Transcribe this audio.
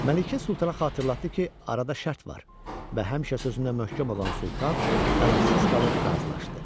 Məlikə sultana xatırlatdı ki, arada şərt var və həmişə sözündə möhkəm olan sultan əlacısız qalıb razılaşdı.